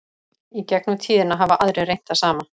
í gegnum tíðina hafa aðrir reynt það sama